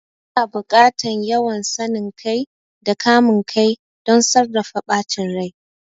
Yana buƙatar yawan sanin kai da kamun kai don sarrafa bacin rai.